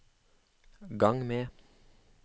gang med